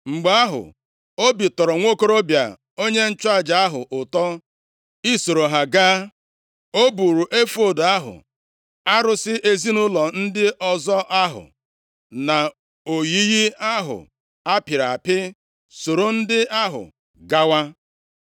Mgbe ahụ, obi tọrọ nwokorobịa onye nchụaja ahụ ụtọ isoro ha gaa. O buuru efọọd ahụ, arụsị ezinaụlọ ndị ọzọ ahụ na oyiyi ahụ a pịrị apị soro ndị ahụ gawa.